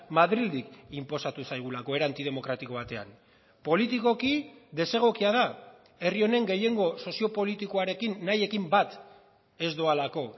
madrildik inposatu zaigulako era antidemokratiko batean politikoki desegokia da herri honen gehiengo soziopolitikoarekin nahiekin bat ez doalako